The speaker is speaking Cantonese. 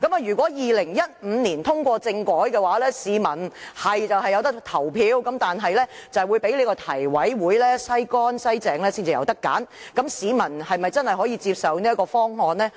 如果2015年通過政改方案，市民的確可以投票，但卻要經提委會"篩乾篩淨"後才能選擇，市民是否真的能夠接受這方案呢？